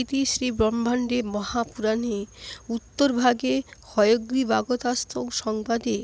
ইতি শ্রীব্রহ্মাণ্ডে মহাপুরাণে উত্তরভাগে হয়গ্রীবাগস্ত্যসংবাদে